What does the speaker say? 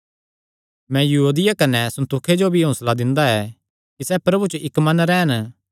मैं यूओदिया कने सुन्तुखे जो भी हौंसला दिंदा ऐ कि सैह़ प्रभु च इक्क मन रैह़न